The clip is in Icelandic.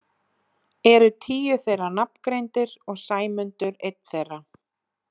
Eru tíu þeirra nafngreindir og Sæmundur einn þeirra.